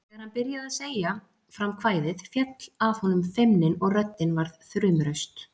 Þegar hann byrjaði að segja fram kvæðið féll af honum feimnin og röddin varð þrumuraust